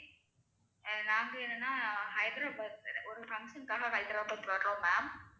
நாங்க என்னனா ஹைதராபாத் ஒரு function காக ஹைதராபாத் வர்றோம் ma'am